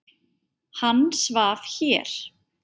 Hann svaf hér.